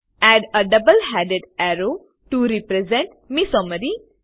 add a double headed arrow to represent મેસોમેરી